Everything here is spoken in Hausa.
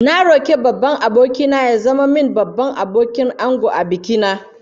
Na roki babban aboki na ya zama min Babban Abokin Angon a biki na